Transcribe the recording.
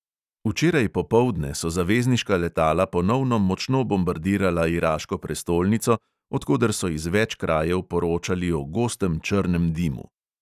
Včeraj popoldne so zavezniška letala ponovno močno bombardirala iraško prestolnico, od koder so iz več krajev poročali o gostem črnem dimu.